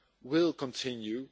will continue.